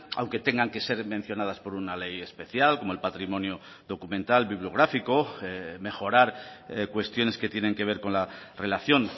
aunque tengan que ser mencionadas por una ley especial como el patrimonio documental bibliográfico mejorar cuestiones que tienen que ver con la relación